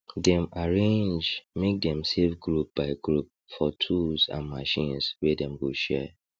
dem arrange make dem save group by group for tools and machines wey dem go share